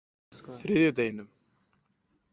þriðjudeginum